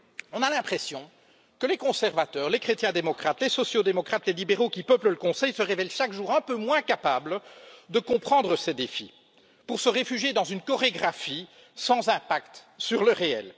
On a l'impression que les conservateurs, les chrétiens démocrates, les sociaux démocrates, les libéraux qui peuplent le Conseil se révèlent chaque jour un peu moins capables de comprendre ces défis et se réfugient dans une chorégraphie sans impact sur le réel.